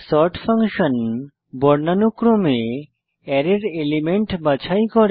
sort function বর্ণানুক্রমে অ্যারের element বাছাই করে